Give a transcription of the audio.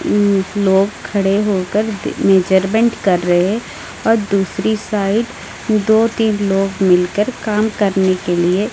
लोग खड़े होकर मेजरमेंट कर रहे और दूसरी साइड दो तीन लोग मिलकर काम करने के लिए--